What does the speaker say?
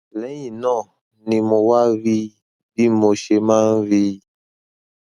lẹyìn náà ni mo wá rí i bí mo ṣe máa ń rí i